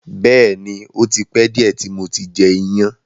Bẹ́ẹ̀ni, ò ti pẹ diẹ ti mo ti jẹ iyan.